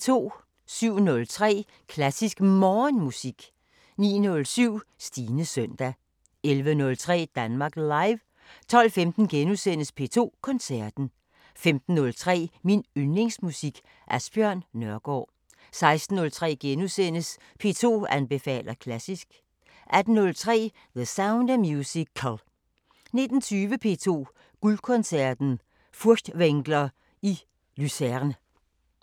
07:03: Klassisk Morgenmusik 09:07: Stines søndag 11:03: Danmark Live 12:15: P2 Koncerten * 15:03: Min Yndlingsmusik: Asbjørn Nørgaard 16:03: P2 anbefaler klassisk * 18:03: The Sound of Musical 19:20: P2 Guldkoncerten: Furtwängler i Luzern